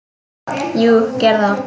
Jú, gerðu það